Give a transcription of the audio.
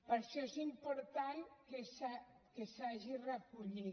per això és important que s’hagi recollit